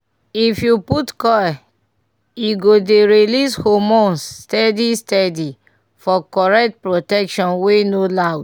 if u put coil e go dey release hormones steady steady - for correct protection wey no loud